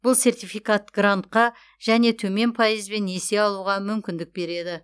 бұл сертификат грантқа және төмен пайызбен несие алуға мүмкіндік береді